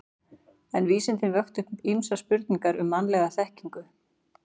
En vísindin vöktu upp ýmsar spurningar um mannlega þekkingu.